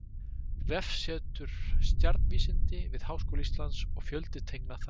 Vefsetur: Stjarnvísindi við Háskóla Íslands og fjöldi tengla þar.